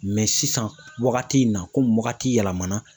sisan wagati in na komi wagati yɛlɛmana